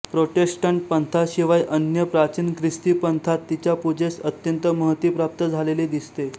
Protestant पंथाशिवाय अन्य प्राचीन ख्रिस्ती पंथांत तिच्या पूजेस अत्यंत महती प्राप्त झालेली दिसते